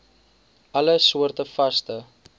alle soorte vaste